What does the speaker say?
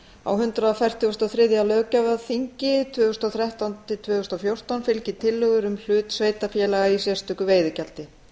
á hundrað fertugasta og þriðja löggjafarþingi tvö þúsund og þrettán til tvö þúsund og fjórtán fylgi tillögur um hlut sjávarútvegssveitarfélaga í sérstöku veiðigjaldi